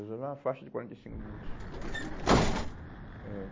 Era uma faixa de quarenta e cinco minutos. Eh